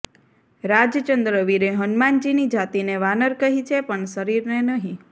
રાજચંદ્ર વીરે હનુમાનજીની જાતિને વાનર કહી છે પણ શરીરને નહીં